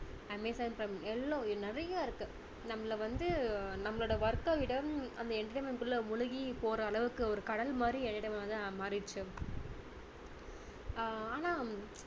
Amazon prime எல்லாம் நிறைய இருக்கு நம்மளை வந்து நம்மளோட work க விட அந்த entertainment குள்ள முழுகிப்போற அளவுக்கு ஒரு கடல் மாதிரி வந்து மாறிடுச்சு ஆஹ் ஆனா